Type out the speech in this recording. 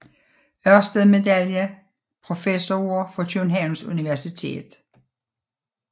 Ørsted Medaljen Professorer fra Københavns Universitet